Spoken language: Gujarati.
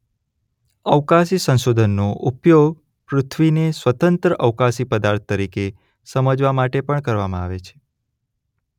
અવકાશી સંશોધનનો ઊપયોગ પૃથ્વીને સ્વતંત્ર અવકાશી પદાર્થ તરીકે સમજવા માટે પણ કરવામાં આવે છે.